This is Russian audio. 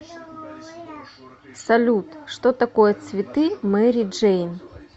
салют что такое цветы мэри джейн